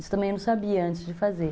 Isso também eu não sabia antes de fazer.